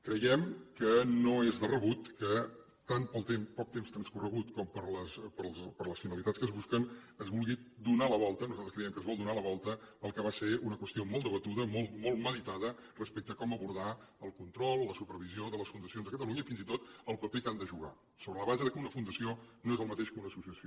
creiem que no és de rebut que tant pel poc temps transcorregut com per les finalitats que es busquen es vulgui donar la volta nosaltres creiem que es vol donar la volta al que va ser una qüestió molt debatuda molt meditada respecte a com abordar el control la supervisió de les fundacions a catalunya i fins i tot el paper que han de jugar sobre la base que una fundació no és el mateix que una associació